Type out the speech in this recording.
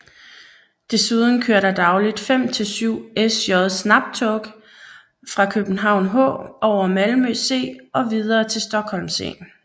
Desuden kører der dagligt fem til syv SJ Snabbtåg fra København H over Malmö C og videre til Stockholm C